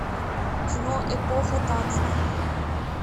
кино эпоха танцев